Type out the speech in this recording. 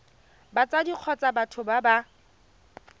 batsadi kgotsa batho ba ba